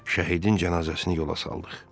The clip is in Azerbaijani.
Şəhidin cənazəsini yola saldıq.